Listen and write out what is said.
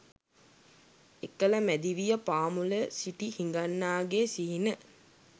එකල මැදිවිය පාමුල සිටි හිඟන්නාගේ සිහින